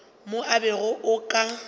mo o bego o ka